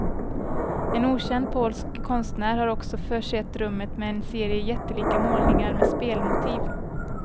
En okänd polsk konstnär har också försett rummet med en serie jättelika målningar med spelmotiv.